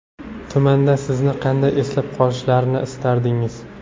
Tumanda sizni qanday eslab qolishlarini istardingiz?